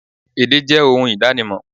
Èdè jẹ ohun ìdánimò